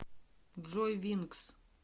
джой вингс